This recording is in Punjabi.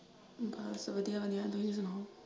ਬਸ ਵਧੀਆ ਵਧੀਆ ਤੁਸੀਂ ਸੁਣਾਓ।